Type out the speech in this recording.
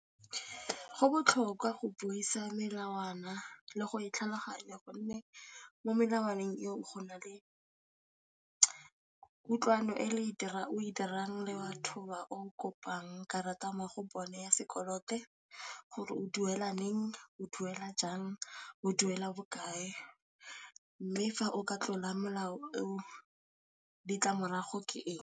Go botlhokwa go buisa melawana le go e tlhaloganya gonne mo melawaneng eo go na le kutlwano o e dirang le batho ba o kopang karata mo go bone ya sekolote gore o duela neng, o duela jang, o duela bokae mme fa o ka tlola molao o ditlamorago ke eng.